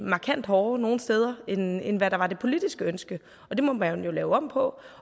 markant hårdere nogle steder end end hvad der var det politiske ønske det må man jo lave om på